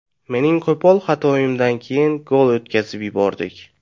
Mening qo‘pol xatoimdan keyin gol o‘tkazib yubordik.